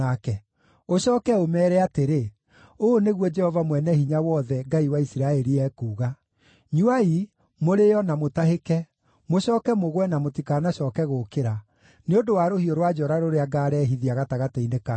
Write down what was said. “Ũcooke ũmeere atĩrĩ, ‘Ũũ nĩguo Jehova Mwene-Hinya-Wothe, Ngai wa Isiraeli, ekuuga: Nyuai, mũrĩĩo na mũtahĩke, mũcooke mũgũe na mũtikanacooke gũũkĩra, nĩ ũndũ wa rũhiũ rwa njora rũrĩa ngaarehithia gatagatĩ-inĩ kanyu.’